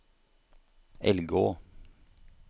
Elgå